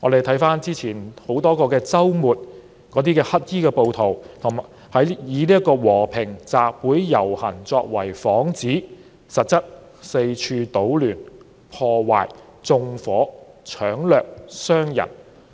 回看之前多個周末，黑衣暴徒以和平集會遊行作幌子，實質是四處搗亂、破壞、縱火、搶掠、傷人。